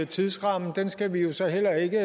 tidsrammen skal vi jo så heller ikke